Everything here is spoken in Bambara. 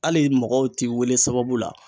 Ai mɔgɔw ti wele sababu la